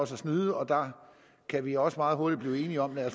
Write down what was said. snyde og der kan vi også meget hurtigt blive enige om at